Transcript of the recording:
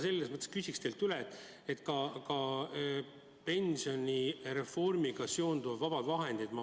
Nii et ma küsin teilt üle ka pensionireformiga seonduvate vabade vahendite kohta.